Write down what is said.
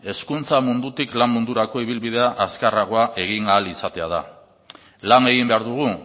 hezkuntza mundutik lan mundurako ibilbidea azkarragoa egin ahal izatea da lan egin behar dugu